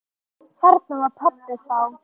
Þarna var pabbi þá.